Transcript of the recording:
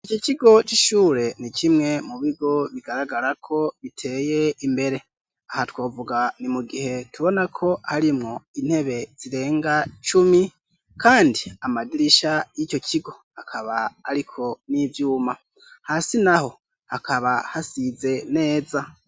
iki kigo c'ishure ni kimwe mu bigo bigaragara ko biteye imbere, aha twovuga ni mu gihe tubona ko harimwo intebe zirenga cumi, kandi amadirisha y'ico kigo akaba ariko n'ivyuma, hasi naho hakaba hasize neza.